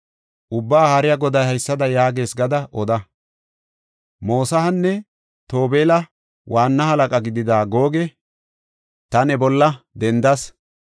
Ubbaa Haariya Goday haysada yaagees gada oda. Mosahanne Tobeela waanna halaqa gidida Googe ta ne bolla dendas.